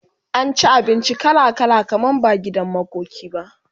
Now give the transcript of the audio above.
an ci abinci kala kala kamar ba gidan makoki ba